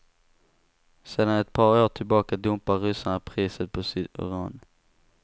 Sedan ett par år tillbaka dumpar ryssarna priset på sitt uran.